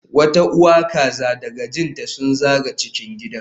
Wata uwa kaza da kajin ta sun zaga cikin gidan